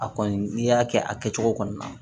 A kɔni n'i y'a kɛ a kɛcogo kɔnɔ